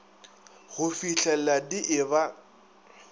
go fihlela di e ba